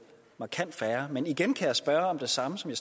markant færre men igen kan jeg spørge om det samme som